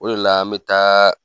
O de la an bi taa